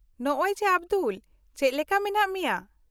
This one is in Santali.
-ᱱᱚᱜ ᱚᱭ ᱡᱮ ᱟᱵᱫᱩᱞ, ᱪᱮᱫ ᱞᱮᱠᱟ ᱢᱮᱱᱟᱜ ᱢᱮᱭᱟ ?